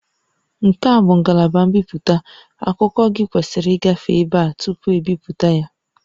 Nke a bụ ngalaba mbipụta, akụkọ gị kwesịrị ịgafe ebe a tupu ebipụta ya